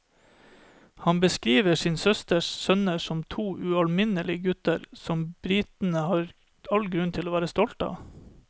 Han beskriver sin søsters sønner som to ualminnelige gutter, som britene har all grunn til å være stolt av.